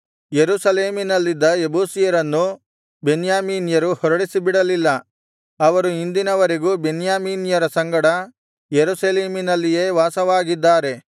ಯೆರೂಸಲೇಮಿನಲ್ಲಿದ್ದ ಯೆಬೂಸಿಯರನ್ನು ಬೆನ್ಯಾಮೀನ್ಯರು ಹೊರಡಿಸಿಬಿಡಲಿಲ್ಲ ಅವರು ಇಂದಿನವರೆಗೂ ಬೆನ್ಯಾಮೀನ್ಯರ ಸಂಗಡ ಯೆರೂಸಲೇಮಿನಲ್ಲಿಯೇ ವಾಸವಾಗಿದ್ದಾರೆ